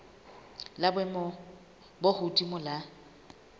la boemo bo hodimo la